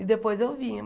E depois eu vinha.